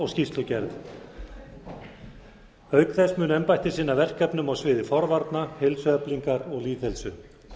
skýrslugerð auk þess mun embættið sinna verkefnum á sviðum forvarna heilsueflingar og lýðheilsu